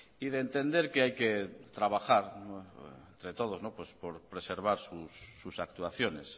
y de entender que hay que trabajar entre todos por preservar sus actuaciones